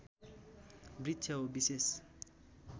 वृक्ष हो विशेष